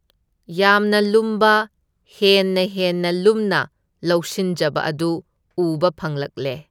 ꯌꯥꯝꯅ ꯂꯨꯝꯕ, ꯍꯦꯟꯅ ꯍꯦꯟꯅ ꯂꯨꯝꯅ ꯂꯧꯁꯤꯟꯖꯕ ꯑꯗꯨ ꯎꯕ ꯐꯪꯂꯛꯂꯦ꯫